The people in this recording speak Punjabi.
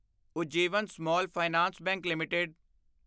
Ujjivan small finance bank LTD